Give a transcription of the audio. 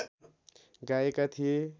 गाएका थिए